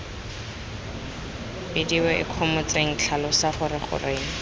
bidiwe ikgomotseng tlhalosa gore goreng